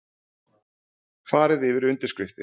Farið yfir undirskriftir